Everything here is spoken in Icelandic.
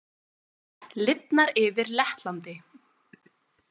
Lifnar yfir Lettlandi